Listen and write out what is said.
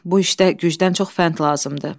Bu işdə gücdən çox fənd lazımdır.